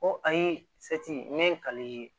Ko ayi n ye